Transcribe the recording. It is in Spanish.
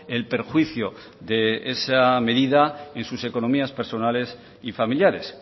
el perjuicio de esa medida en sus economías personales y familiares